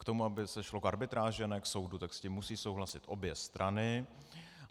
K tomu, aby se šlo k arbitráži a ne k soudu, tak s tím musí souhlasit obě strany.